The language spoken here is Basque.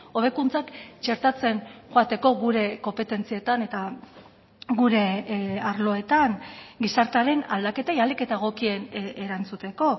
hobekuntzak txertatzen joateko gure konpetentzietan eta gure arloetan gizartearen aldaketei ahalik eta egokien erantzuteko